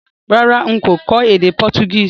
Rárá, n kò kó édé Portuguese